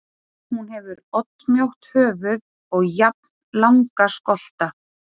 Hún hefur oddmjótt höfuð og jafnlanga skolta.